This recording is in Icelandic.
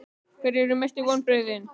Hverjir eru mestu vonbrigðin?